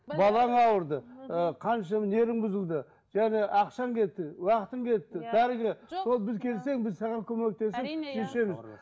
балаң ауырды ыыы қаншама нервың бұзылды және ақшаң кетті уақытың кетті дәріге сол біз келсең біз саған көмектесіп